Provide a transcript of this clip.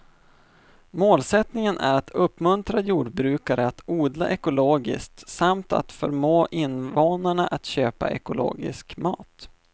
Målsättningen är att uppmuntra jordbrukare att odla ekologiskt samt att förmå invånarna att köpa ekologisk mat.